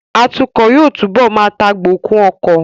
Atukọ̀ yóò túbọ̀ má tagbokun ọkọ